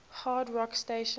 hard rock stations